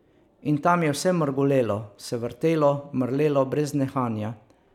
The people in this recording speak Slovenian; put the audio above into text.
In tam je vse mrgolelo, se vrtelo, mrlelo brez nehanja.